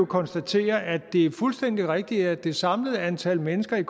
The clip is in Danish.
konstatere at det er fuldstændig rigtigt at det samlede antal mennesker i